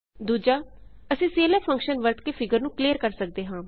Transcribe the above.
ਦੂਜਾ ਅਸੀਂ clf function ਵਰਤ ਕੇ ਫਿਗਰ ਨੂੰ ਕਲੀਅਰ ਕਰ ਸਕਦੇ ਹਾਂ